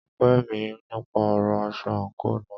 Ó pè mí nípa ọ̀rọ aṣọ àńkò náà.